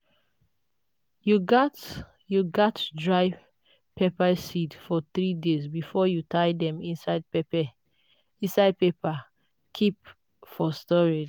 you gats you gats dry pepper seeds for three days before you tie dem inside paper keep for storage.